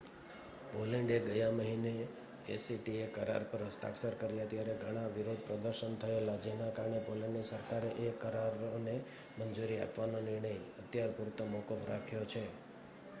Poland એ ગયા મહિને એસીટીએ કરાર પર હસ્તાક્ષર કર્યા ત્યારે ત્યાં ઘણા વિરોધ પ્રદર્શનો થયેલા જેના કારણે પોલેન્ડની સરકારે એ કરારોને મંજૂરી આપવાનો નિર્ણય અત્યાર પૂરતો મોકૂફ રાખ્યો છે